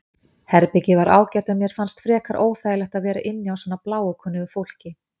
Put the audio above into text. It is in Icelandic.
Herbergið var ágætt en mér fannst frekar óþægilegt að vera inni á svona bláókunnugu fólki.